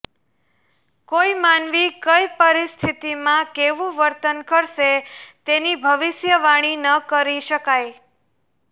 કોઈ માનવી કઈ પરિસ્થિતિમાં કેવું વર્તન કરશે તેની ભવિષ્યવાણી ન કરી શકાય